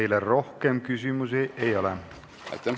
Teile rohkem küsimusi ei ole.